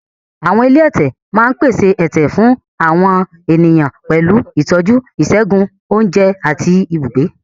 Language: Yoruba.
Àwọn ilé ẹ̀tẹ̀ máa ń pèsè ẹ̀tẹ̀ fún àwọn ènìyàn pẹ̀lú ìtọ́jú ìṣègùn, oúnjẹ, àti ibùgbé.